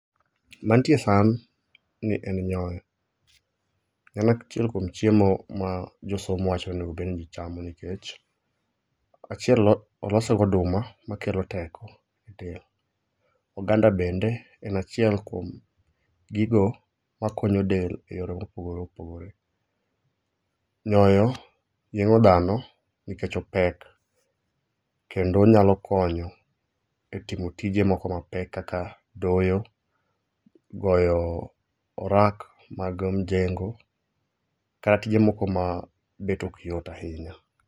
Mantie e san ni en nyoyo. En achiel kuom chiemo ma josomo wacho ni onegobed ni ji chamo nikech. Achiel, olose goduma makelo teko e del. Oganda bende en achiel kuom gigo makonyo del e yore mopogore opogore. Nyoyo yieng'o dhano nikech opek, kendo onyalo konyo e timo tije moko mapek kaka doyo, goyo orak mag mjengo kata tije moko ma bet ok yot ahinya.